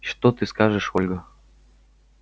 что ты скажешь ольга